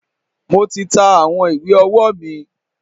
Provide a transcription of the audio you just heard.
Mo ti ta àwọn ìwé ọwọ́ mi.